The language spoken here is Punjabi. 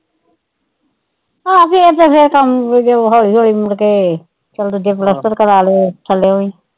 ਹਾਂ ਫੇਰ ਤੇ ਫੇਰ ਕੰਮ ਜੇ ਹੌਲੀ ਹੌਲੀ ਮੁੜਕੇ ਚੱਲ ਦੂਜੇ ਪਲੱਸਤਰ ਕਰਾ ਲੈ ਥੱਲਿਓਂ ਵੀ।